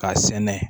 K'a sɛnɛ